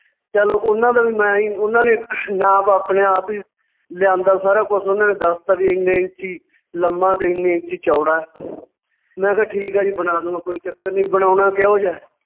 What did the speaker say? ਚੱਲ ਉਹਨਾਂ ਦਾ ਵੀ ਮੈਂ ਹੀ ਉਨਾਂ ਨੇ ਨਾਪ ਆਪਣੇ ਆਪ ਈ ਲਿਆਂਦਾ ਸਾਰਾ ਕੁਛ ਉਹਨਾਂ ਨੇ ਦੱਸ ਦਿੱਤਾ ਵੀ ਇੰਨੇ ਇੰਚੀ ਲੰਮਾ ਤੇ ਇੰਨੇ ਇੰਚੀ ਚੌੜਾ ਹੈ ਮੈਂ ਕਿਹਾ ਠੀਕ ਆ ਜੀ ਬਣਾ ਦਊਗਾ, ਕੋਈ ਚੱਕਰ ਨੀ, ਬਣਾਉਣਾ ਕਿਹੋ ਜਿਹਾ ਹੈ,